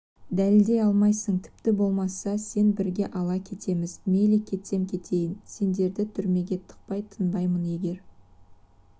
дәлелдей алмайсың тіпті болмаса сен бірге ала кетеміз мейлі кетсем кетейін сендерді түрмеге тықпай тынбаймын егер